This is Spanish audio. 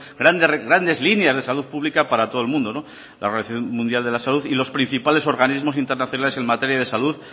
grandes líneas de salud pública para todo el mundo la organización mundial de la salud y los principales organismo internacionales en materia de salud